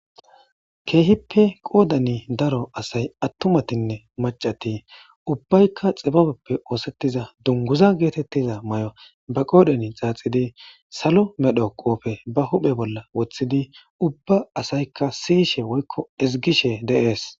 keehippe qoodani daro asay attumatinne macati ubbaykka xibabeppe oosettiza dunguza geetettiza may7o ba qoodan xaaxidi salo medho qoofe ba huphe bolla woththidi ubba asaykka siyishe woykko izgishe de'ees